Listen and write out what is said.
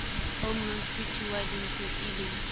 home loans pty limited eleng